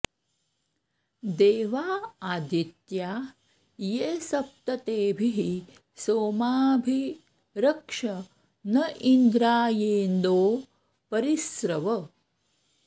देवा आदित्या ये सप्त तेभिः सोमाभि रक्ष न इन्द्रायेन्दो परि स्रव